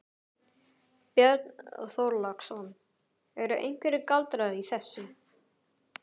Björn Þorláksson: Eru einhverjir galdrar í þessu?